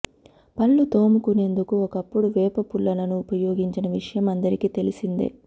పళ్ళు తోముకునేందుకు ఒకప్పుడు వేప పుల్లలను ఉపయోగించిన విషయం అందరికీ తెలిసిందే